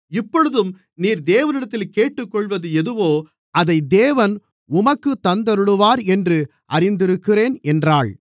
இப்பொழுதும் நீர் தேவனிடத்தில் கேட்டுக்கொள்ளுவது எதுவோ அதை தேவன் உமக்குத் தந்தருளுவார் என்று அறிந்திருக்கிறேன் என்றாள்